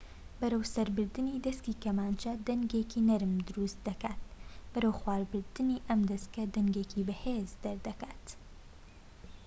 بەرەوسەربردنی دەسکی کەمانچە دەنگێکی نەرم دروست دەکات بەرەوخوار بردنی ئەم دەسکە دەنگێکی بەهێز دروست دەکات